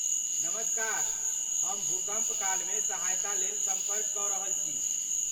नमस्कार, हम भूकम्प कालमे सहायतालेल सम्पर्क कऽ रहल छी।